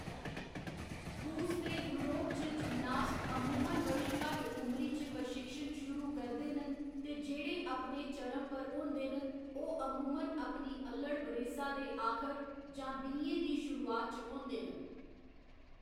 रूस ते यूरोप च जिमनास्ट अमूमन बड़ी घट्ट उमरी च प्रशिक्षण शुरू करदे न ते जेह्‌‌ड़े अपने चरम पर होंदे न ओह्‌‌ अमूमन अपनी अल्लढ़ बरेसा दे आखर जां बीहें दी शुरुआत च होंदे न।